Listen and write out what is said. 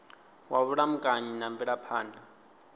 wa vhulamukanyi na mvelaphan ḓa